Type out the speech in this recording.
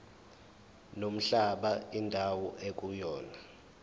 nomhlaba indawo ekuyona